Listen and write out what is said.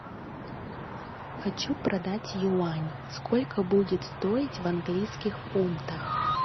хочу продать юань сколько будет стоить в английских фунтах